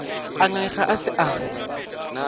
a ngangega a se sa